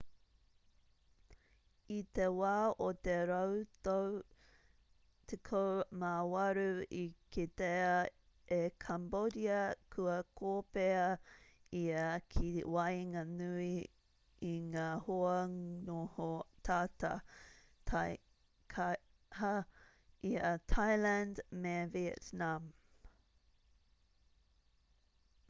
i te wā o te rautau 18 i kitea e cambodia kua kōpēa ia ki waenganui i ngā hoa noho tata taikaha i a thailand me vietnam